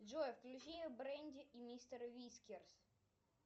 джой включи бренди и мистер вискерс